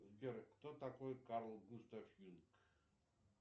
сбер кто такой карл густав юнг